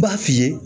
I b'a f'i ye